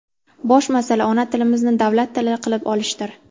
Bosh masala ona tilimizni davlat tili qilib olishdir.